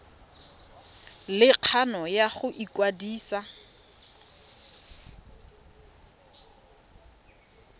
le kgano ya go ikwadisa